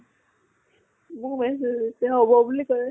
হব বুলি কলে।